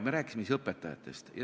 Me rääkisime siis õpetajatest.